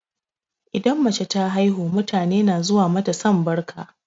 Idan mace ta haihu, mutane na zuwa mata sambarka.